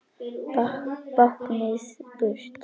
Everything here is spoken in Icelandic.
Báknið burt!